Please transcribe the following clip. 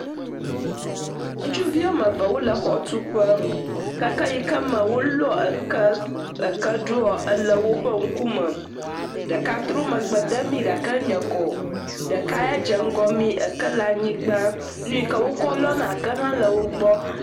Ŋutsuvi woame eve wole xɔtu ƒe, keke yi ke me wolɔ eke, eke ɖoa le woƒe akɔme, ɖeka tsrɔ megbe de mí gake enye kɔ, ɖeka ya dze ŋgɔ mí eke le anyigba, nu yi ke wokɔ lɔna eke le wo gbɔ.